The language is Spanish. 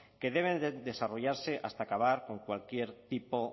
que deben desarrollarse hasta acabar con cualquier tipo